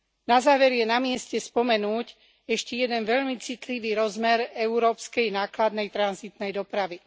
Na záver je na mieste spomenúť ešte jeden veľmi citlivý rozmer európskej nákladnej tranzitnej dopravy.